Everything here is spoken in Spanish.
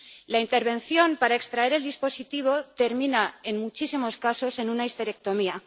La intervención para extraer el dispositivo termina, en muchísimos casos, en una histerectomía.